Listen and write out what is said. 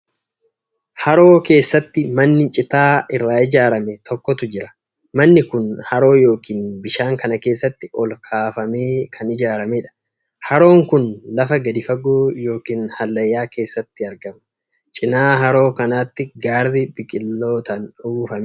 Haroo keessatti manni citaa iraa ijaarame tokkotu jira. Manni kun haroo yookiin bishaan kana keessatti ol kaafamee kan ijaarameedha. Haroon kun lafa gadi fagoo yookiin hallayyaa keessatti argama. Cinaa haroo kanaatti gaarri biqilootaan uwwifametu jira.